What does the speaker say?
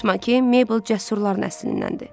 Unutma ki, Mabel cəsurların nəslindəndir.